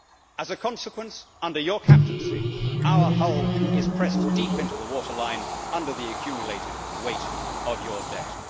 As a consequence, under your captaincy, our hull is pressed deep into the waterline under the accumulated weight of your debt.